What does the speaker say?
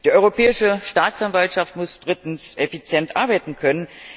Die Europäische Staatsanwaltschaft muss drittens effizient arbeiten können.